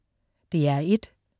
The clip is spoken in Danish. DR1: